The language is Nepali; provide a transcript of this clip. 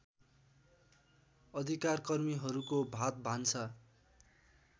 अधिकारकर्मीहरूको भातभान्सा